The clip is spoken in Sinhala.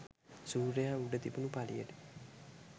සූර්යයා උඩ තිබුණු පළියට.